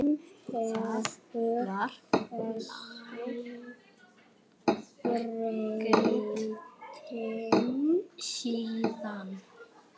Það var langt síðan.